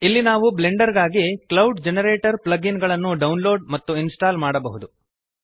ಇಲ್ಲಿ ನಾವು ಬ್ಲೆಂಡರ್ ಗಾಗಿ ಕ್ಲೌಡ್ ಜನರೇಟರ್ ಪ್ಲಗ್ ಇನ್ ಅನ್ನು ಡೌನ್ಲೋಡ್ ಮತ್ತು ಇನ್ಸ್ಟಾಲ್ ಮಾಡಬಹುದು